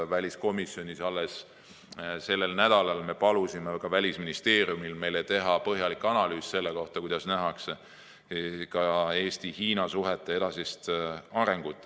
Väliskomisjonis me alles sellel nädalal palusime Välisministeeriumil teha meile põhjalik analüüs selle kohta, kuidas nähakse Eesti ja Hiina suhete edasist arengut.